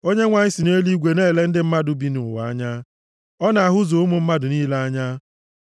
Onyenwe anyị si nʼeluigwe na-ele ndị mmadụ bi nʼụwa anya. Ọ na-ahụzu ụmụ mmadụ niile anya.